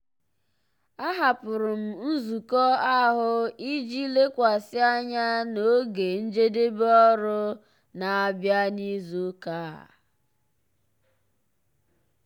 ahapụrụ m nzukọ ahụ iji lekwasị anya na oge njedebe ọrụ na-abịa n'izu ụka a.